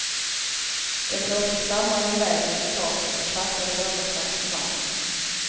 Den blåste slamrande iväg nerför taket och kraschade någonstans på marken.